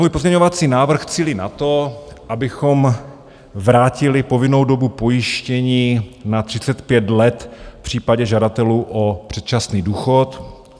Můj pozměňovací návrh cílí na to, abychom vrátili povinnou dobu pojištění na 35 let v případě žadatelů o předčasný důchod.